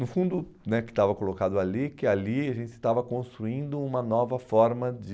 No fundo né, que estava colocado ali que ali a gente estava construindo uma nova forma de...